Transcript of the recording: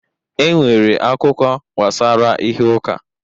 E nwere akụkọ gbasara ihe ụka